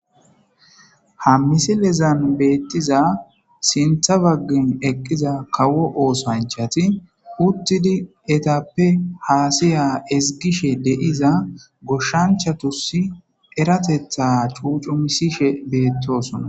Ha misilezan bettiza sintha bagan eqiza kawo osanchati utidi etape hasaya ezigishe de'iza goshanchatus eratetha c'uc'ichishe betosona